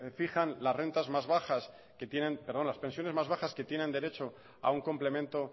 fijan las pensiones más bajas que tienen derecho a un complemento